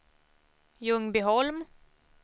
Ljungbyholm